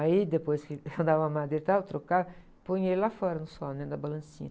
Aí depois que eu dava a madeira e tal, trocava, punha ele lá fora no sol, dentro da balancinha.